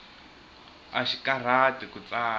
axi karhati ku tsala